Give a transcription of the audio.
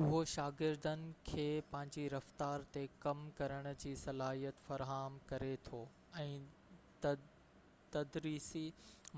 اهو شاگردن کي پنهنجي رفتار تي ڪم ڪرڻ جي صلاحيت فراهم ڪري ٿو ۽ تدريسي